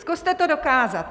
Zkuste to dokázat.